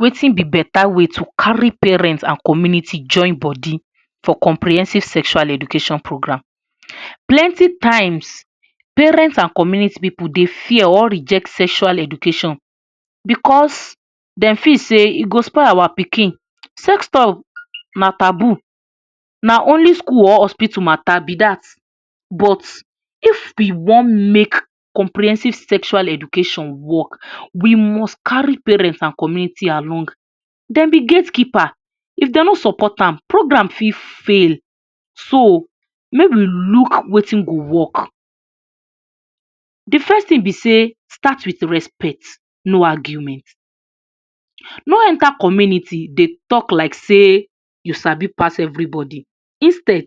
Wetin be beta way to carry parent an community join bodi for comprehensive sexual education program? Plenti times, parents an community pipu dey fear or reject sexual education becos dem feel sey e go spoil our pikin. Sex talk na taboo, na only school or hospital matter be dat. But if we wan make comprehensive sexual education work, we must carry parent an community along. Dem be gate keeper. If dem no support am, program fit fail. So, make we look wetin go work. Di first tin be sey start with respect, no argument: No enter community dey talk like sey you sabi pass every bodi. Instead,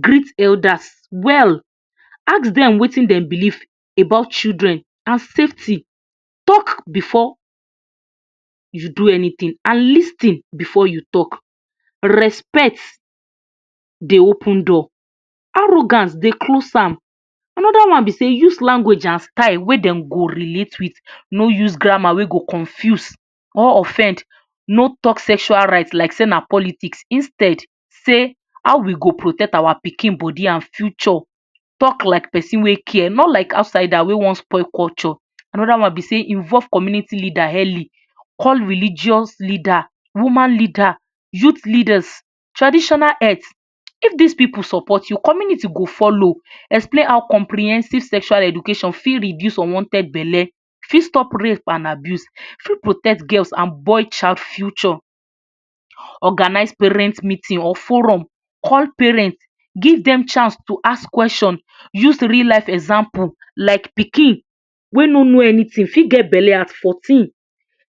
greet elders well, ask dem wetin dem believe about children, an safety. Talk before you do anytin an lis ten before you talk. Respect dey open door; arrogance dey close am. Another one be sey use language an style wey den go relate with: No use grammar wey go confuse or offend, no talk sexual right like sey na politics. Instead, say, “How we go protect our pikin bodi an future?” Talk like pesin wey care, not like outsider wey wan spoil culture. Another one be sey involve community leader early: Call religious leader, woman leader, youth leaders, traditional heads. If dis pipu support you, community go follow. Explain how comprehensive sexual education fit reduce unwanted belle, fit stop rape an abuse, fit protect girls an boy child future. Organise parent meeting or forum: Call parent, give dem chance to ask question. Use real life example like pikin wey no know anytin fit get belle at fourteen.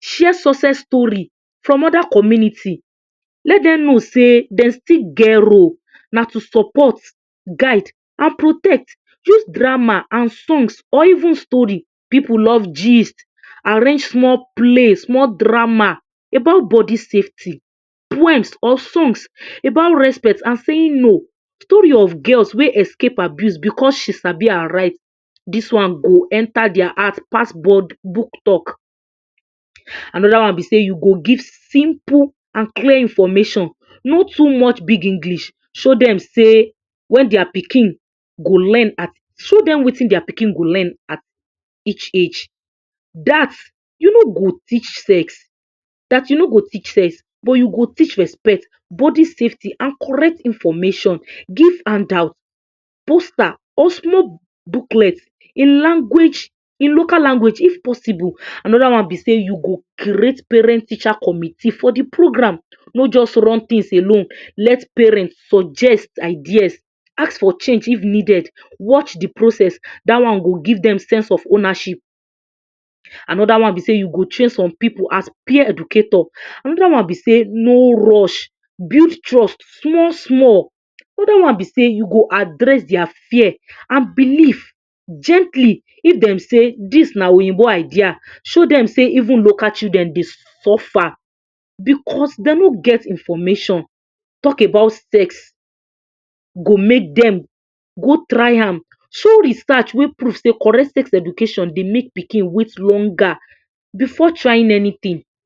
Share success story from other community. Let den know sey den still get role. Na to support, guide, an protect. Use drama an songs, or even story: Pipu love gist! Arrange small play, small drama about bodi safety, poems or songs about respect an saying no, story of girls wey escape abuse becos she sabi her right. Dis one go enter dia heart pass book talk. Another one be sey you go give simple an clear information: No too much big English. Show dem sey wen dia pikin go learn at. Show dem wetin dia pikin go learn at each age dat you no go teach sex dat you no go teach sex but you go teach respect, bodi safety an correct information. Give handout, poster, or small booklet in language in local language if possible. Another one be sey you go create parent-teacher committee for di program: No juz run tins alone. Let parent suggest ideas, ask for change if needed, watch di process. Dat one go give dem sense of ownership. Another one be sey you go train some pipu as peer educator. Another one be sey no rush, build trust small-small. Another one be sey you go address dia fear an belief gently: If dem say dis na oyinbo idea, show dem sey even local children dey suffer becos de no get information. Talk about sex go make dem go try am. Show research wey prove sey correct sex education dey make pikin wait longer before trying anytin.